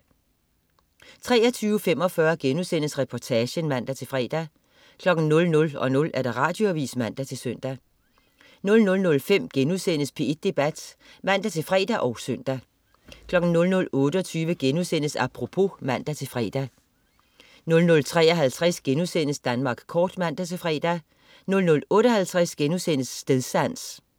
23.45 Reportagen* (man-fre) 00.00 Radioavis (man-søn) 00.05 P1 Debat* (man-fre og søn) 00.28 Apropos* (man-fre) 00.53 Danmark kort* (man-fre) 00.58 Stedsans*